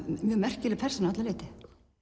mjög merkileg persóna að öllu leyti